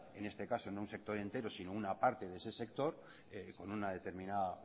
en este caso no un sector entero sino una parte de ese sector con una determinada